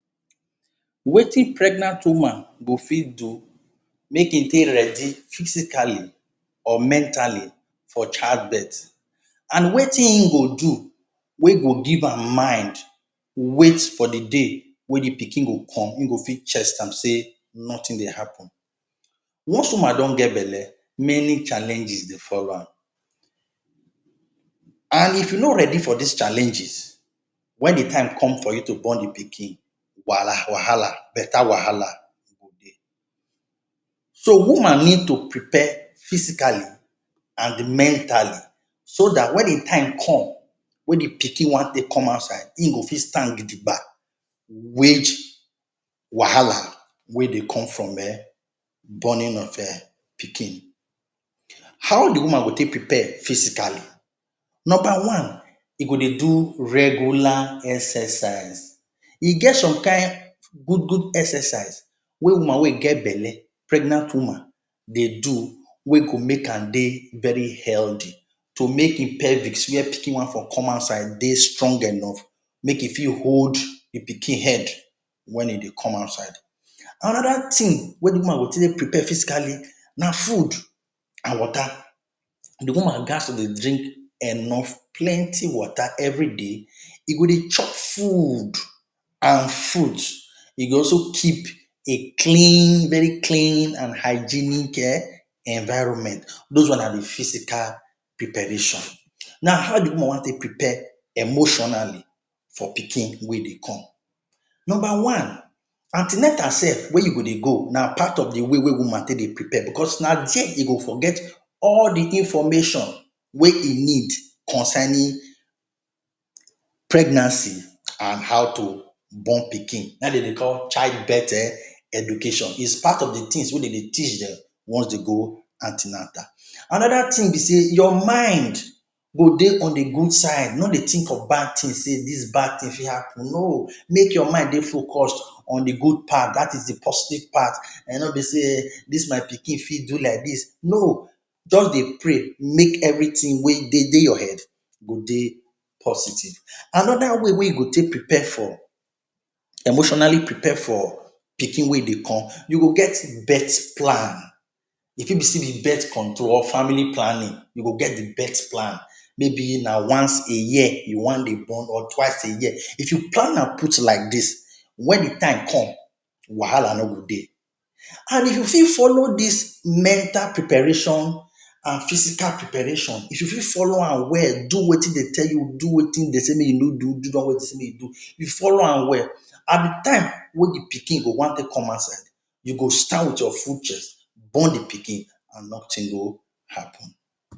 Wetin pregnant woman go fit do make e dey ready physically or mentally for childbirth?. And wetin e go do wey go give am mind wait for the day wey the pikin go come, e go fit chest am say nothing dey happen. Once woman don get belle, many challenge dey follow am and if you no ready for dis challenges, wen the time come for you to born the pikin, wahala wahala better wahala e go dey. So woman need to prepare physically and mentally so dat wen im time come wey the pikin wan take come outside, im go fit stand gidigba wage wahala wey dey come from um borning of [um]pikin. How the woman go take prepare physically .Number one, e go dey do regular exercise. E get some kain good good exercise wey woman wet e get belle, pregnant woman dey do wey go make am dey very healthy, to make im pelvics where pikin wan for come outside dey strong enough, make e fit hold the pikin head wen e dey come outside. Another thing wey woman go take prepare physically na food and water. The woman ghats to dey drink enough, plenty water everyday. E go dey chop food and fruits. E go also keep a clean, very clean and hygienic um environment. Those one na the physical preparation. Now how the woman wan take prepare emotionally for pikin wey dey come? Number one, an ten atal sef wey you go dey go, na part of way wey woman take dey prepare because na there e go for get all the information wey e need concerning pregnancy and how to born pikin. Na im dey dey childbirth um education. It's part of the things wey dem dey teach dem once dey go an ten atal. Another thing be say your mind go dey on the good side, no dey think of bad thing say ‘dis bad thing fit happen’, no. Make your mind dey focused on the good part dat is the positive part. No be say, “dis my pikin fit do like dis”, no. Just dey pray make everything wey dey dey your head go dey positive. Another way wey you go take prepare for, emotionally prepare for pikin wey e go come. You go get birth plan. E fit be say e be birth control or family planning, you go get the birth plan. Maybe na once a year you wan dey born or twice a year. If you plan am put like dis, wen the time come wahala no go dey. And if you fit follow dis mental preparation and physical preparation, if you fit follow am well, do wetin dey tell you, do wetin dem say make you no do, do the one e say make you do, you follow am, and the time wey the pikin go wan take come outside, you go stand with your full chest, born the pikin and nothing go happen.